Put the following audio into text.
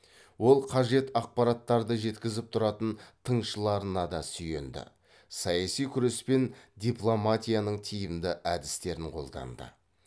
ол қажет ақпараттарды жеткізіп тұратын тыңшыларына да сүйенді саяси күрес пен дипломатияның тиімді әдістерін қолданды